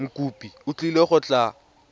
mokopi o tlile go tla